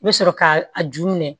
I bɛ sɔrɔ ka a ju minɛ